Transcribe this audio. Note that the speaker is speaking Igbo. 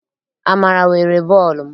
Amara were bọọlụ m.